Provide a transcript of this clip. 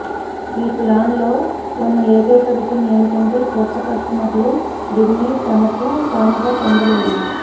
ఈ ప్లాన్ లో ఉన్న ఏకైక విషయం ఏమిటంటే క్రొత్త కస్టమర్లు దీనిని తమకు తాముగా పొందలేరు